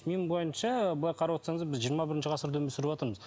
менің ойымша былай қарап отырсаңыз біз жиырма бірінші ғасырда өмір сүріватырмыз